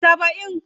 70